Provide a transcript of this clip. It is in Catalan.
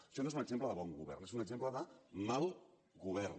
això no és un exemple de bon govern és un exemple de mal govern